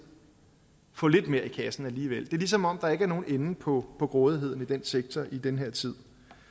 få lidt mere i kassen alligevel det er ligesom om der ikke er nogen ende på på grådigheden i den sektor i den her tid